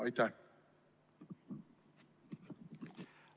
Aitäh!